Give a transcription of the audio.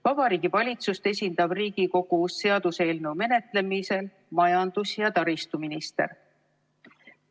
Vabariigi Valitsust esindab Riigikogus seaduseelnõu menetlemisel majandus- ja taristuminister.